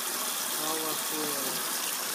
алахуэла